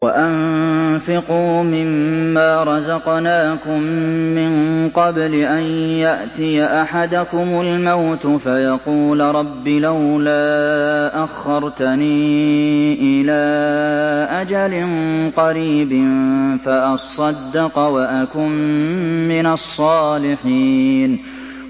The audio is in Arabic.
وَأَنفِقُوا مِن مَّا رَزَقْنَاكُم مِّن قَبْلِ أَن يَأْتِيَ أَحَدَكُمُ الْمَوْتُ فَيَقُولَ رَبِّ لَوْلَا أَخَّرْتَنِي إِلَىٰ أَجَلٍ قَرِيبٍ فَأَصَّدَّقَ وَأَكُن مِّنَ الصَّالِحِينَ